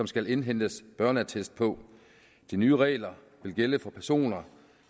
skal indhentes børneattest på de nye regler vil gælde for personer